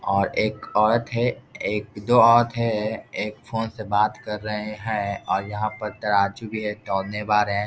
और एक औरत है एक-दो औरत है एक फ़ोन से बात कर रहे हैं और यहाँ पर तराजू भी है तौलने वालें --